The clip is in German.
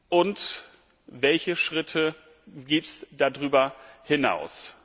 Und welche Schritte gibt es darüber hinaus?